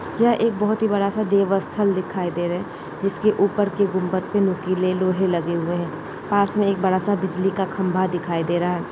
यह एक बहौत ही बड़ा सा देवस्थल दिखाई दे रहा है जिसके ऊपर के गुम्बद पे नोकीले लोहे लगे हुए हैं पास में एक बड़ा सा बिजली का खम्बा दिखाई दे रहा है।